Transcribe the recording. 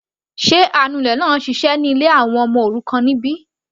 Sé anulẹ̀ náà ń ṣiṣẹ́ ní ilé àwọn ọmọ òrukàn níbí?